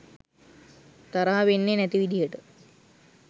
තරහා වෙන්නේ නැති විදිහට